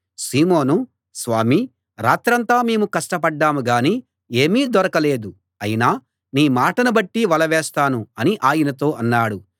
సీమోను స్వామీ రాత్రంతా మేము కష్టపడ్డాం గాని ఏమీ దొరకలేదు అయినా నీ మాటను బట్టి వల వేస్తాను అని ఆయనతో అన్నాడు